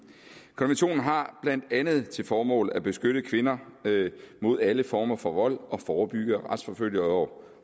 har blandt andet til formål at beskytte kvinder mod alle former for vold og forebygge retsforfølge og